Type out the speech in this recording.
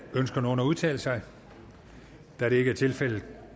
ønsker nogen at udtale sig da det ikke er tilfældet